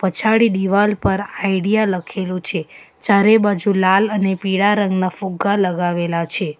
પચાડી દીવાલ પર આઈડિયા લખેલું છે ચારે બાજુ લાલ અને પીળા રંગના ફુગ્ગા લગાવેલા છે.